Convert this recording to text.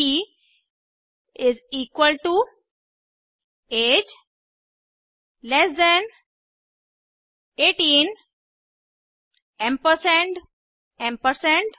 ब is equal to age less than 18 ampersand ampersand